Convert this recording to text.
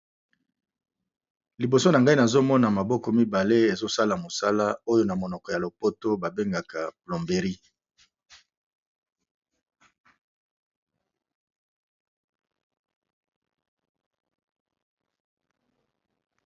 Liboso na ngai nazomona maboko mibale ezosala mosala oyo na monoko ya lopoto ba bengaka plomberie.